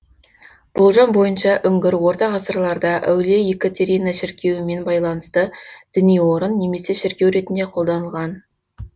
болжам бойынша үңгір орта ғасырларда әулие екатерина шіркеуімен байланысты діни орын немесе шіркеу ретінде қолданылған